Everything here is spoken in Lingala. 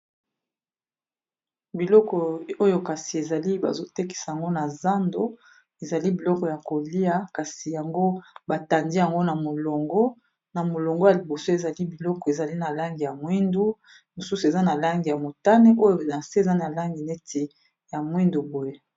Biloko oyo kasi, ezali bazo tekisa yango na zando. Ezali biloko ya kolia, kasi yango ba tandi yango na molongo, na molongo ya liboso. Ezali biloko ezali, na langi ya mwindu. Mosusu eza na langi ya motane. Oyo na se eza na langi neti ya mwindu boye.